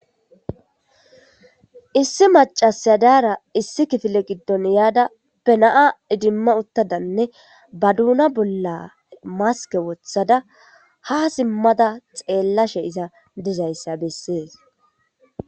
issi macasyadaara issi kifile giddon yaada bena7a idimma uttadanne ba duuna bolla maske wothada ha simmada xeellashe iza dizayssa bessees